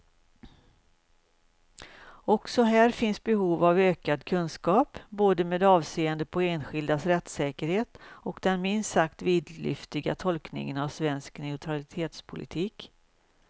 Också här finns behov av ökad kunskap, både med avseende på enskildas rättssäkerhet och den minst sagt vidlyftiga tolkningen av svensk neutralitetspolitik.